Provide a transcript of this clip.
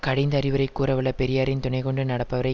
கடிந்து அறிவுரை கூறவல்ல பெரியாரின் துணை கொண்டு நடப்பவரை